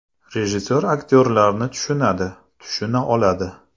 Rejissor aktyorlarni tushunadi, tushuna oladi.